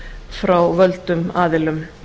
frá völdum aðilum